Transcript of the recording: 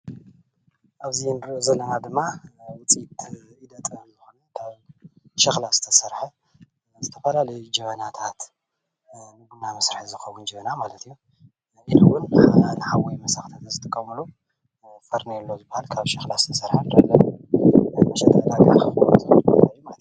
ኣብዚ ንርእዮ ዘለና ድማ ናይ ውፅኢት ኢደ ጥበብ ዝኾነ ካብ ሸኽላ ዝተሰርሐ ዝተፈላለዩ ጀበናታት ፦ንቡና መስርሒ ዝኸውን ጀበና ማለት እዩ ኢሉ እውን ንሓዊ መሰኽተቲ ዝጥቀምሉ ፈርኔሎ ዝባሃል ካብ ሸኽላ ዝተሰርሐ መሸጢ ዕዳጋ ዝኾነ ቦታ ማለት እዩ።